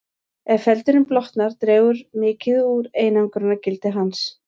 Ef feldurinn blotnar dregur mikið úr einangrunargildi hans.